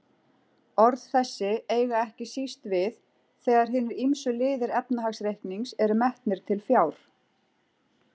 Orð þessi eiga ekki síst við þegar hinir ýmsu liðir efnahagsreiknings eru metnir til fjár.